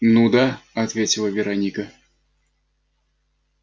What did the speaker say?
ну да ответила вероника